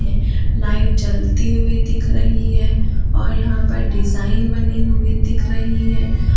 Light जलते हुए दिख रही है और यहां पर डिजाइन बनी हुई दिख रही है।